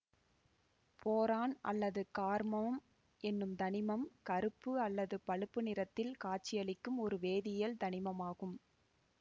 boron அல்லது கார்மம் என்னும் தனிமம் கருப்பு அல்லது பழுப்பு நிறத்தில் காட்சியளிக்கும் ஒரு வேதியியல் தனிமமாகும்